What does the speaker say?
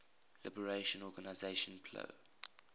liberation organization plo